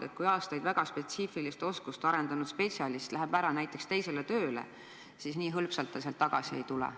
Näiteks, kui aastaid väga spetsiifilist oskust omandanud spetsialist läheb ära teisele tööle, siis nii hõlpsalt ta sealt tagasi ei tule.